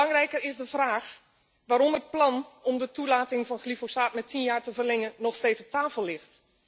Maar belangrijker is de vraag waarom het plan om de toelating van glyfosaat met tien jaar te verlengen nog steeds op tafel ligt.